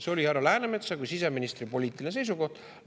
See oli härra Läänemetsa kui siseministri poliitiline seisukoht.